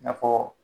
I n'a fɔ